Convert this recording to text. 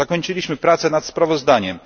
Zakończyliśmy pracę nad sprawozdaniem.